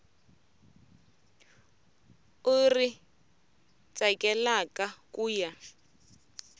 u ri tsakelaka ku ya